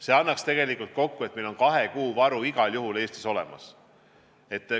See annaks kokku, et Eestis on kahe kuu varu igal juhul olemas.